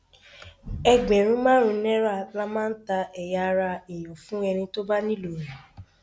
ẹgbẹrún márùnún náírà la máa ń ta ẹyà ara èèyàn fún ẹni tó bá nílò rẹ